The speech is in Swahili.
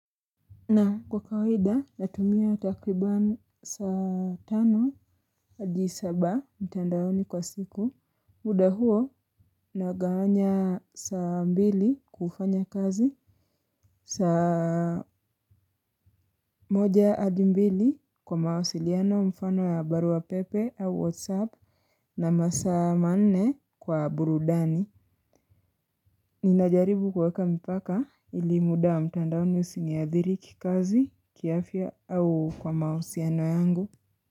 Na kwa kawaida natumia takribani saa tano hadi saba mtandaoni kwa siku. Muda huo nagawanya saa mbili kufanya kazi. Saa moja hadi mbili kwa mawasiliano mfano ya barua pepe au whatsapp na masaa manne kwa burudani. Ninajaribu kuweka mpaka ili muda wa mtandaoni usinithiri kikazi kiafya au kwa mahusiano yangu.